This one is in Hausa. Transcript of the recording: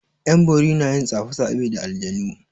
'Yan bori na yin tsafe tsafe da aljanu.